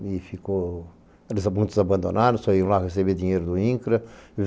E ficou, eles eram muito abandonados, só iam lá receber dinheiro do INCRA.